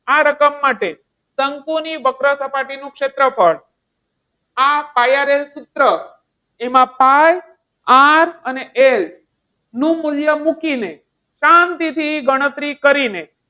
તારકમ માટે શંકુની વક્ર સપાટી નું ક્ષેત્રફળ આ pi r l સૂત્ર એમાં pi R અને L નું મૂલ્ય મૂકીને, શાંતિથી ગણતરી કરીને,